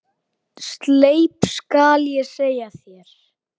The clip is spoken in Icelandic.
Sleip skal ég segja þér.